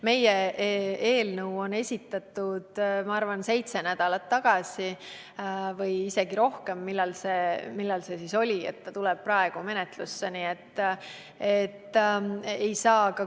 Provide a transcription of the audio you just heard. Meie eelnõu on esitatud, ma arvan, seitse nädalat tagasi või isegi varem, aga see tuli alles praegu menetlusse.